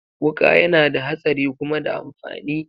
Wuka yana da hatsari kuma da amfani.